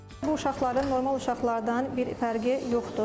Bu uşaqların normal uşaqlardan bir fərqi yoxdur.